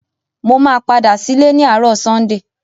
Mo máa padà sílé ni àárò Sunday